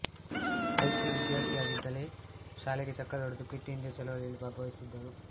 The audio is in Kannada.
ಹೈಸ್ಕೂಲ್ ವಿದ್ಯಾರ್ಥಿಯಾಗಿದ್ದಾಗಲೇ ಶಾಲೆಗೆ ಚಕ್ಕರ್ ಹೊಡೆದು ಕ್ವಿಟ್ ಇಂಡಿಯಾ ಚಳವಳಿಯಲ್ಲಿ ಭಾಗವಹಿಸಿದರು